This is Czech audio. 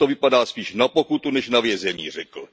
Dnes to vypadá spíš na pokutu než na vězení, řekl.